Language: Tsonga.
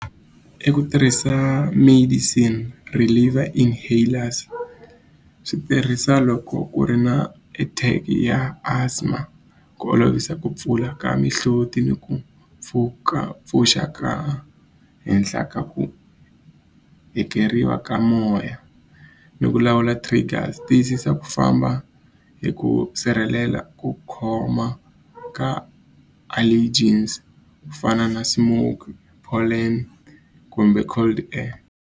I ku tirhisa medicine reliever inhalers swi tirhisa loko ku ri na a type ya asthma ku olovisa ku pfula ka mihloti ni ku pfuka pfuxa ka henhla ka ku hekeriwa ka moya ni ku lawula tiyisisa ku famba hi ku sirhelela ku khoma ka allergens ku fana na smoke kumbe cold air.